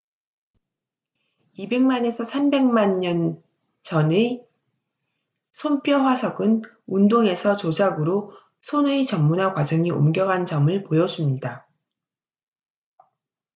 2백만에서 3백만 년 전의 손뼈 화석은 운동에서 조작으로 손의 전문화 과정이 옮겨간 점을 보여줍니다